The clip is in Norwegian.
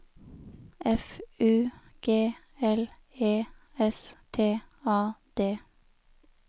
F U G L E S T A D